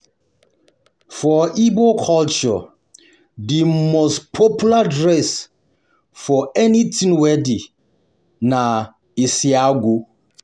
For igbo culture, the most popular dress for um anything wedding na Isiagu. um